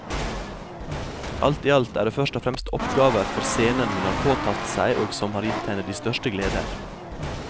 Alt i alt er det først og fremst oppgaver for scenen hun har påtatt seg og som har gitt henne de største gleder.